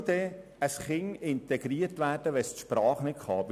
Wie soll ein Kind integriert werden, wenn es die Sprache nicht beherrscht?